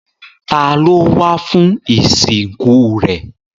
Ta ló wá fún ìsìnkú rẹ̀?